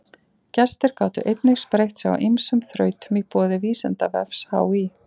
Gestir gátu einnig spreytt sig á ýmsum þrautum í boði Vísindavefs HÍ.